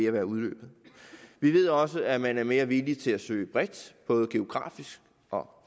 at udløbe vi ved også at man så er mere villig til at søge bredt både geografisk og